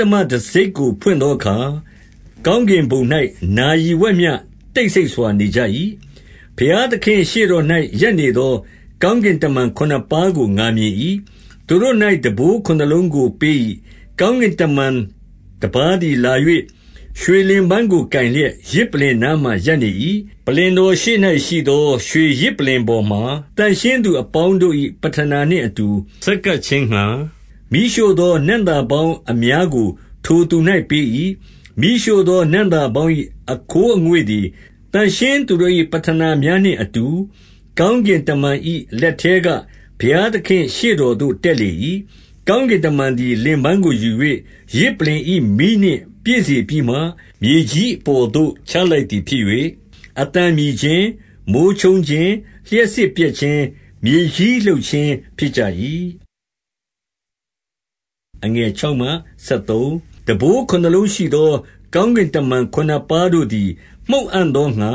တမတံဆိပ်ကိုဖွင့်သောအခါ၊ ကောင်းကင်ဘုံ၌ နာရီဝက်မျှ တိတ်ဆိတ်စွာ နေကြ၏။ 2 ဘုရားသခင့်ရှေ့တော်၌ ရပ်နေသောကောင်းကင်တမန် ခုနစ်ပါးကို ငါမြင်၏။ သူတို့၌ တံပိုးခုနစ်လုံးကို ပေး၏။ 3 ကောင်းကင်တမန်တပါးသည်လာ၍ ရွှေလင်ပန်းကို ကိုင်လျက် ယဇ်ပလ္လင်နားမှာရပ်နေ၏။ ပလ္လင် တော်ရှေ့၌ရှိသော ရွှေယဇ်ပလ္လင်ပေါ်မှာ သန့်ရှင်းသူ အပေါင်းတို့၏ ပဌနာနှင့်အတူ ဆက်ကပ်ခြင်းငှါ၊ မီးရှို့ သောနံ့သာပေါင်းအများကို ထိုသူ၌ပေး၏။ 4 မီးရှို့သော နံ့သာပေါင်း၏ အခိုးအငွေ့သည် သန့်ရှင်းသူတို့၏ ပဌနာများနှင့်အတူ ကောင်းကင် တမန်၏ လက်ထဲက ဘုရားသခင့်ရှေ့တော်သို့ တက်လေ၏။ 5 ကောင်းကင်တမန်သည် လင်ပန်းကိုယူ၍ ယဇ်ပလ္လင်၏ မီးနှင့် ပြည့်စေပြီးမှ၊ မြေကြီးအပေါ်သို့ ချလိုက် သည်ဖြစ်၍၊ အသံမြည်ခြင်း၊ မိုဃ်းချုန်းခြင်း၊ လျှပ်စစ်ပြက်ခြင်း၊ မြေကြီးလှုပ်ခြင်းဖြစ်ကြ၏။ 6 တံပိုးခုနစ်လုံးရှိသော ကောင်းကင်တမန် ခုနစ်ပါးတို့သည် မှုတ်အံ့သောငှါ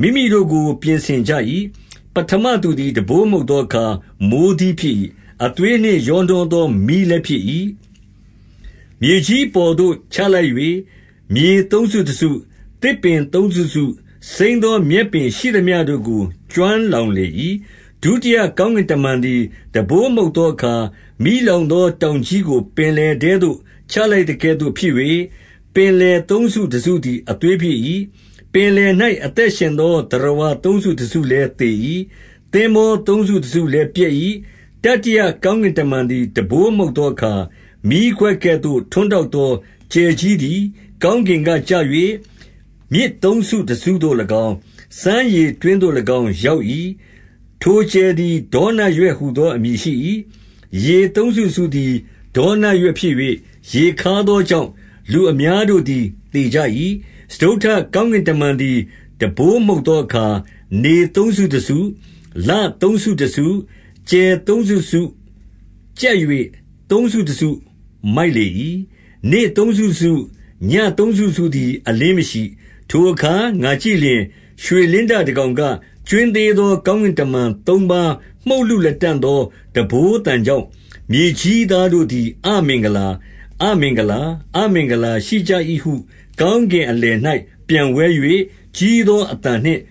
မိမိတို့ကို ပြင်ဆင်ကြ၏။ 7 ပဋ္ဌမသူသည် တံပိုးမှုတ်သောအခါ မိုဃ်းသီးဖြစ်၏။ အသွေးနှင့် ရောနှောသော မီးလည်းဖြစ်၏။ မြေကြီးအပေါ်သို့ချလိုက်၍၊ မြေသုံးစုတစု၊ သစ်ပင်သုံးစုတစု၊ စိမ်းသော မြက်ပင်ရှိသမျှတို့ကို ကျွမ်းလောင် လေ၏။ 8 ဒုတိယကောင်းကင်တမန်သည် တံပိုးမှုတ်သောအခါ၊ မီးလောင်သော တောင်ကြီးကို ပင်လယ်ထဲသို့ ချလိုက်သကဲ့သို့ ဖြစ်၍၊ ပင်လယ်သုံးစုတစုသည် အသွေးဖြစ်၏။ 9 ပင်လယ်၌ အသက်ရှင်သော သတ္တဝါသုံးစုတစုလည်းသေ၏။ သင်္ဘောသုံးစုတစုလည်းပျက်၏။ 10 တတိယကောင်းကင်တမန်သည် တံပိုးမှုတ်သောအခါ၊ မီးခွက်ကဲ့သို့ ထွန်းတောက်သော ကြယ်ကြီး သည် ကောင်းကင်ကကျ၍၊ မြစ်သုံးစုတစုသို့၎င်း၊ စမ်းရေတွင်းသို့၎င်း ရောက်၏။ 11 ထိုကြယ်သည် ဒေါနရွက်ဟူသောအမည်ရှိ၏။ ရေသုံးစုတစုသည် ဒေါနရွက်ဖြစ်၍ရေခါးသောကြောင့်၊ လူအများတို့သည် သေကြ၏။ 12 စတုတ္ထကောင်းကင်တမန်သည် တံပိုးမှုတ်သောအခါ၊ နေသုံးစုတစု၊ လသုံးစုတစု၊ ကြယ်သုံးစု တစုကြတ်၍ သုံးစုတစုမိုက်လေ၏။ နေ့သုံးစုတစု၊ ညဉ့်သုံးစုတစုသည် အလင်းမရှိ၊ 13 ထိုအခါ ငါကြည့်လျှင်၊ ရွှေလင်းတကောင်က၊ ကြွင်းသေးသော ကောင်းကင်တမန် သုံးပါးမှုတ်လု လတံ့သော တံပိုးသံကြောင့် မြေကြီးသားတို့သည် အမင်္ဂလာ၊ အမင်္ဂလာ၊ အမင်္ဂလာရှိကြ၏ဟု ကောင်းကင် အလယ်၌ ပျံဝဲ၍ကြီးသောအသံနှင့်